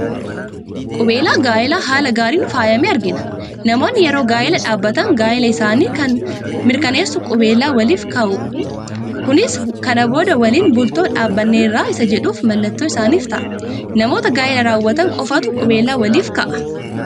Qubeelaa gaa'elaa haala gaariin faayame argina. Namoonni yeroo gaa'elaa dhaabbatan gaa'ela isaanii kana kan mirkaneessuu qubeelaa waliif kaa'u. Kunis kana booda waliin bultoo dhaabanneerra isa jedhuuf mallattoo isaaniif ta'a. Namoota gaa'ela raawwatan qofaatu qubeelaa waliif ka'aa ?